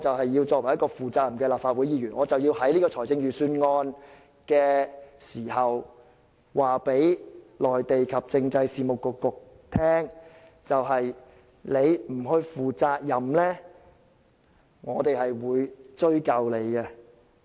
我要做一個負責任的立法會議員，因此必須藉辯論財政預算案的機會告訴政制及內地事務局，如你們不負責任，我們必會追究。